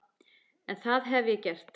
En það hef ég gert.